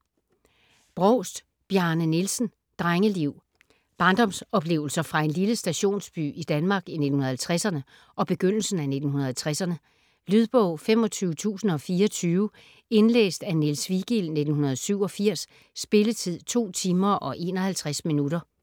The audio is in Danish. Brovst, Bjarne Nielsen: Drengeliv Barndomsoplevelser fra en lille stationsby i Danmark i 1950'erne og begyndelsen af 1960'erne. Lydbog 25024 Indlæst af Niels Vigild, 1987. Spilletid: 2 timer, 51 minutter.